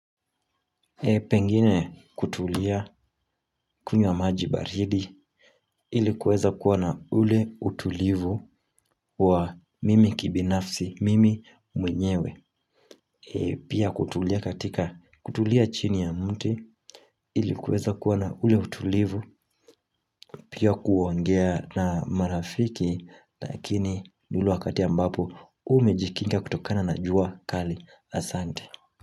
Pengine kutulia kunywa maji baridi ilikuweza kuwa na ule utulivu wa mimi kibinafsi mimi mwenyewe Pia kutulia katika kutulia chini ya mti ilikuweza kuwa na ule utulivu Pia kuongea na marafiki lakini ni ule wakati ambapo umejikinga kutokana na jua kali asante.